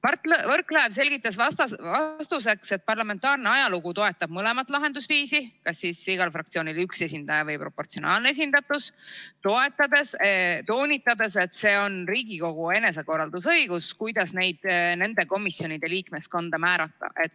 Mart Võrklaev selgitas vastuseks, et parlamentaarne ajalugu toetab mõlemat lahendusviisi – kas nii, et igal fraktsioonil on üks esindaja, või on proportsionaalne esindatus –, toonitades, et see on Riigikogu enesekorraldusõigus, kuidas komisjonide liikmeskonda määratakse.